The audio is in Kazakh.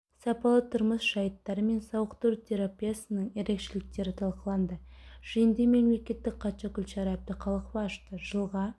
сапалы тұрмыс жайттары мен сауықтыру терапиясының ерекшеліктері талқыланды жиынды мемлекеттік хатшы гүлшара әбдіқалықова ашты жылға